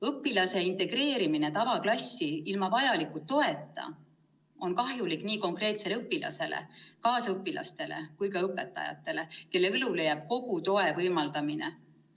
Õpilase integreerimine tavaklassi ilma vajaliku toeta on kahjulik nii konkreetsele õpilasele, kaasõpilastele kui ka õpetajatele, kelle õlule jääb kogu toe võimaldamine.